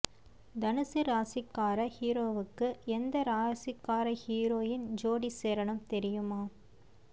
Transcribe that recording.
தனுசு ராசிக்கார ஹீரோவுக்கு எந்த ராசிக்கார ஹீரோயின் ஜோடி சேரணும் தெரியுமா